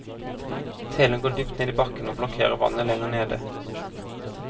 Telen går dypt ned i bakken, og blokkerer vannet lenger nede.